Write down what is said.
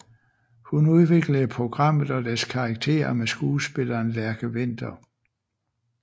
Hun udviklede programmet og dets karakterer med skuespilleren Lærke Winther